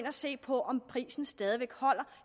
og se på om prisen stadig væk holder